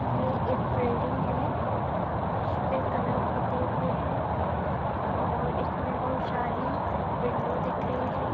ये एक बिल्डिंग है इस पे कलर पुते हुए हैं और इसमें बहोत शारी विंडो दिख रही है।